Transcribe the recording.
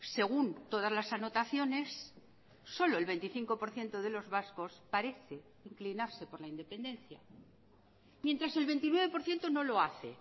según todas las anotaciones solo el veinticinco por ciento de los vascos parece inclinarse por la independencia mientras el veintinueve por ciento no lo hace